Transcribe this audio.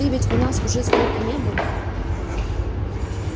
ты ведь у нас уже сколько не был